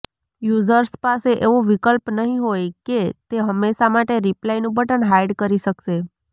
users પાસે એવો વિકલ્પ નહીં હોય કે તે હંમેશાં માટે રિપ્લાયનું બટન હાઈડ કરી શકશે